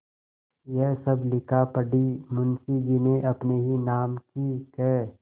यह सब लिखापढ़ी मुंशीजी ने अपने ही नाम की क्